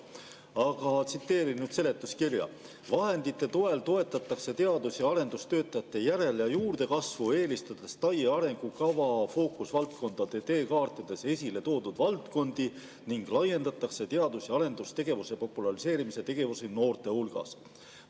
Aga tsiteerin seletuskirja: "Vahendite toel toetatakse teadus- ja arendustöötajate järel- ja juurdekasvu, eelistades TAIE fookusvaldkondade teekaartides esile toodud valdkondi ning laiendatakse teadus- ja arendustegevuse populariseerimise tegevusi noorte hulgas.